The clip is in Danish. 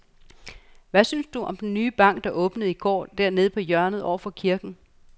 Hvad synes du om den nye bank, der åbnede i går dernede på hjørnet over for kirken?